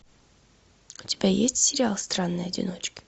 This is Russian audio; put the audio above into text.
у тебя есть сериал странные одиночки